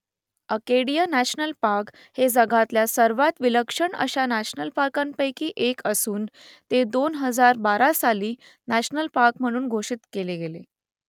Acadia national park हे जगातल्या सर्वांत विलक्षण अशा नॅशनल पार्कांपैकी एक असून ते दोन हजार बारा साली नॅशनल पार्क म्हणून घोषित केले गेले